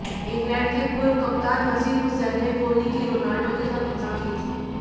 England के पूर्व कप्तान नसीर हुसैन ने कोहली की रोनाल्डो के साथ तुलना की थी